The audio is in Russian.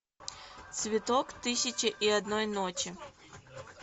цветок тысячи и одной ночи